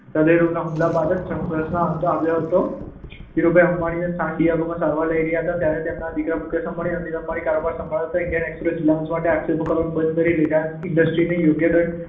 હદય રોગના હુમલા બાદ જ આ સંઘર્ષનો અંત આવ્યો. ધીરુભાઈ અંબાણી સાન ડિએગોમાં સારવાર લઈ રહ્યા હતા ત્યારે તેમના દીકરાઓ મુકેશ અંબાણી અને અનિલ અંબાણીએ કારોબાર સંભાળ્યો હતો. ઈન્ડિયન એક્સપ્રેસે રીલાયન્સ સામે આક્ષેપો કરવાનું બંધ કરી રીલાયન્સ ઈન્ડસ્ટ્રીઝને યોગ્ય દંડ